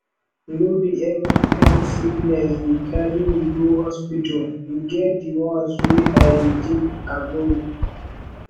no be every kain sickness dey carry me go hospital e get di ones wey i dey take agbo